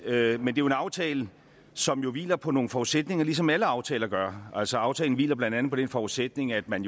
er en aftale som jo hviler på nogle forudsætninger ligesom alle aftaler gør altså aftalen hviler blandt andet på den forudsætning at man